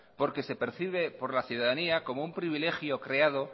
porque se percibe por la ciudadanía como un privilegio creado